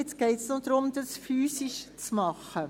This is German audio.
Jetzt geht es noch darum, dies physisch zu machen.